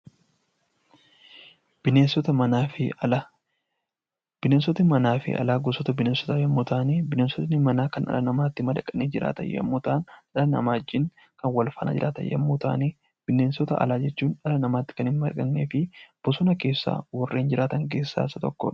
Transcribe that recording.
Bineensota manaa fi alaa. Bineensoti alaa fi manaa gosoota bineensotaa yommuu ta'ani, Bineensoti manaa kan dhala namaatti madaqanii jiraatan yommuu ta'an, dhala namaa wajjin kan wal faana jiraatan yommuu ta'ani, Bineensota alaa jechuun dhala namaatti kan hin madaqnee fi bosona keessa warreen jiratan keessaa isa tokko dha.